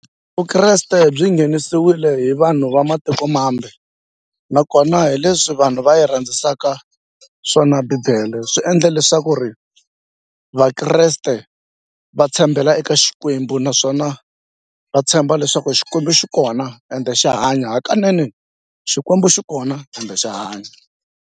Vukreste byi nghenisiwile hi vanhu va matikomambe nakona hi leswi vanhu va yi rhandzaka swona bibele swi endle leswaku ri va vakreste va tshembela eka Xikwembu naswona va tshemba leswaku Xikwembu xi kona ende xa hanya hakanene Xikwembu xi kona kambe xa hanya.